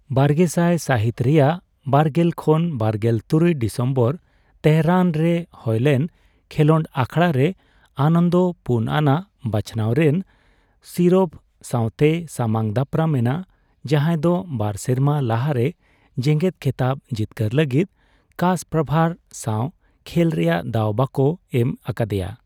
ᱵᱟᱨᱜᱮᱥᱟᱭ ᱥᱟᱹᱦᱤᱛ ᱨᱮᱭᱟᱜ ᱵᱟᱨᱜᱮᱞ ᱠᱷᱚᱱ ᱵᱟᱨᱜᱮᱞ ᱛᱩᱨᱩᱭ ᱰᱤᱥᱮᱢᱵᱚᱨ ᱛᱮᱦᱚᱨᱟᱱ ᱨᱮ ᱦᱳᱭᱞᱮᱱ ᱠᱷᱮᱞᱚᱸᱰ ᱟᱠᱷᱲᱟ ᱨᱮ ᱟᱱᱚᱱᱫᱚ ᱯᱩᱱ ᱟᱱᱟᱜ ᱵᱟᱪᱷᱱᱟᱣ ᱨᱮᱱ ᱥᱤᱨᱚᱵᱷ ᱥᱟᱣᱛᱮᱭ ᱥᱟᱢᱟᱝᱼᱫᱟᱯᱨᱟᱢ ᱮᱱᱟ, ᱡᱟᱸᱦᱟᱭ ᱫᱚ ᱵᱟᱨ ᱥᱮᱨᱢᱟ ᱞᱟᱦᱟᱨᱮ ᱡᱮᱜᱮᱫ ᱠᱷᱮᱛᱟᱵ ᱡᱤᱛᱠᱟᱹᱨ ᱞᱟᱹᱜᱤᱫ ᱠᱟᱥᱯᱟᱨᱵᱷᱟᱨ ᱥᱟᱣ ᱠᱷᱮᱞ ᱨᱮᱭᱟᱜ ᱫᱟᱣ ᱵᱟᱠᱚ ᱮᱢ ᱟᱠᱟᱫᱮᱭᱟ ᱾